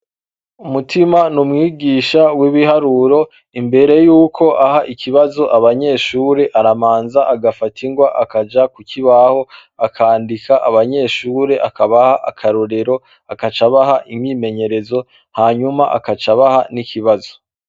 Mutima n'umwigisha w'ibiharuro, imbere yuko aha ikibazo abanyeshure aramanza agafata ingwa akaja ku kibaho, akandika abanyeshure akabaha akarorero, agaca abaha imyimenyerezo hanyuma akava abaha n'ikibazo.